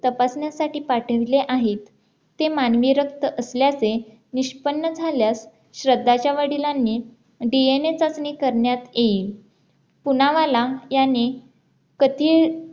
तपासण्यासाठी पाठवले आहेत ते मानवी रक्त असल्याचे निष्पन्न झाल्यास श्रद्धाच्या वडिलांनी DNA चाचणी करण्यात येईल पुनावाला यांनी